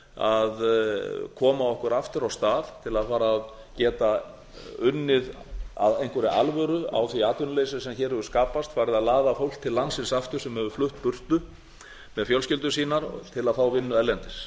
að koma okkur aftur af stað til að fara að geta unnið af einhverri alvöru á því atvinnuleysi sem hér hefur skapast farið að laða fólk til landsins aftur sem hefur flutt burtu með fjölskyldur sínar til að fá vinnu erlendis